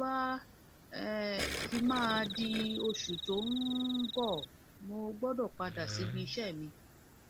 nígbà tó bá um fi máa di oṣù tó um ń bọ mo gbọdọ padà síbi iṣẹ mi